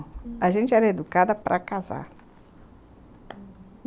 A gente era educada para casar.